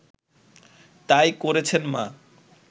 তাই করেছেন মা